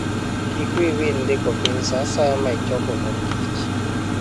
Kik wiyi wil ndiko piny sa asaya ma ichoko mor kich.